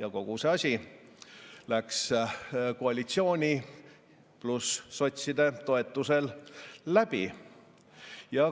ja kogu see asi läks koalitsiooni ja sotside toetusel läbi.